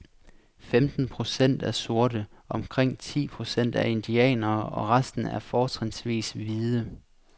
Femten procent er sorte, omkring ti procent er indianere og resten er fortrinsvis hvide.